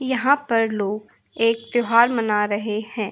यहाँ पर लोग एक त्यौहार मना रहे हैं।